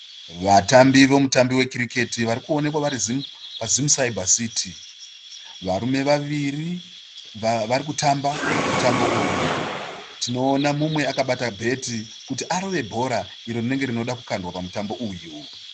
Vatambi vemutambo wekiriketi varikuonekwa vari paZim Cyber City. Varume vaviri vari kutamba mutambo uyu. Tinoona mumwe akabata bheti kuti arove bhora iro rinenge rinoda kukandwa pamutambo uyu.